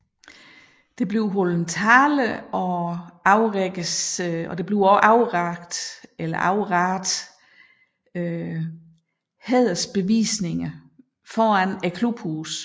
Der holdes taler og overrækkes hædersbevisninger foran klubhuset